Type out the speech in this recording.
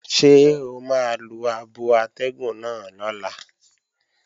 Ṣé o máa lo abo atẹ́gùn náà lọ́la?